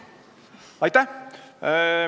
Aitäh!